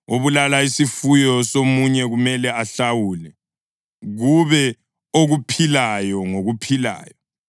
Obulala isifuyo somunye kumele ahlawule, kube okuphilayo ngokuphilayo.